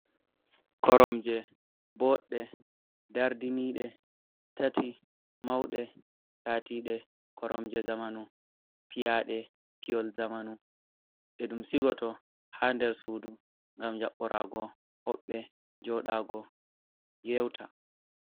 Koromje bodde dardinide tati maude latide koromje zamanu piyade piyol zamanu de dum sigoto ha der sudu gam jaborago hobbe jodago yewta.